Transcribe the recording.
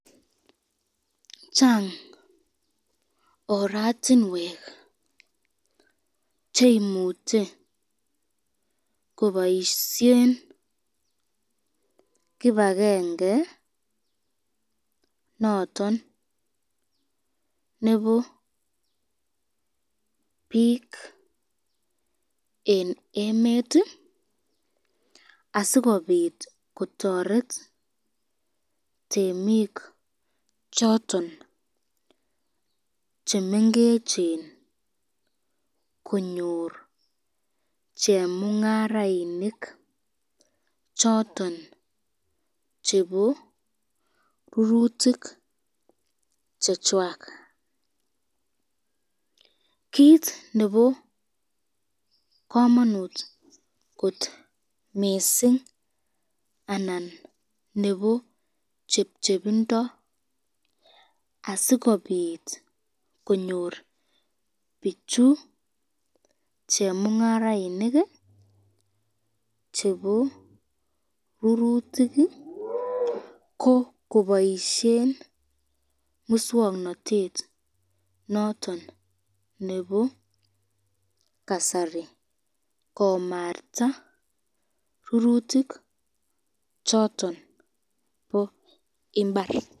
chang ortinwek cheimuche koboisyen kibakenge noton nebo bik eng emet , asikobit kotoret temik choton chemengechen konyor chemungarainik, choton chebo rurutik chechwak, kit nebo kamanut mising anan nebo chepchepindo asikobit konyor bichu chemungarainik chebo rurutik, ko koboisyen muswoknotet noton nebo kasari komarta rurutik choton bo imbar.